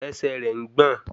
Ẹsẹ̀ rẹ̀ ń gbọ̀n